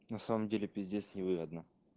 на самом деле пиздец невыгодно